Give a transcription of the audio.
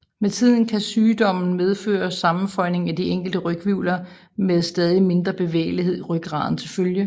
Med tiden kan sygdommen medføre sammenføjning af de enkelte ryghvirvler med stadig mindre bevægelighed i rygraden til følge